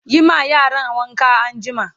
Yi ma yaran wanka anjima!